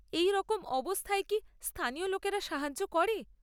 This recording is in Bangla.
এই রকম অবস্থায় কি স্থানীয় লোকেরা সাহায্য করে?